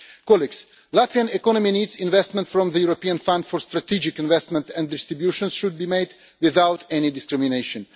The Latvian economy needs investment from the European Fund for Strategic Investments, and distribution should be made without any discrimination.